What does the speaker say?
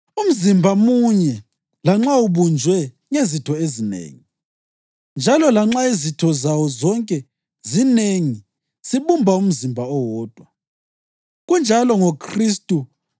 Umzimba munye lanxa ubunjwe ngezitho ezinengi; njalo lanxa izitho zawo zonke zinengi, zibumba umzimba owodwa. Kunjalo ngoKhristu.